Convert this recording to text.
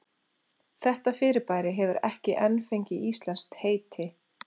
Þetta fyrirbæri hefur ekki enn fengið íslenskt heiti.